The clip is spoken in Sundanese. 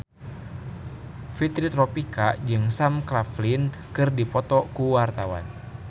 Fitri Tropika jeung Sam Claflin keur dipoto ku wartawan